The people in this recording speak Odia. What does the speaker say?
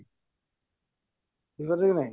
ବୁଝି ପାରିଲ କି ନାଇଁ